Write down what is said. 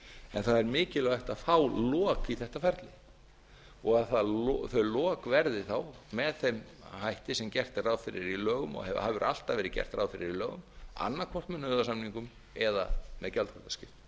en það er mikilvægt að fá lok í þetta ferli og að þau lok verði þá með þeim hætti sem gert er ráð fyrir í lögum og hefur alltaf verið gert ráð fyrir í lögum annað hvort með nauðasamningum eða með gjaldþrotaskiptum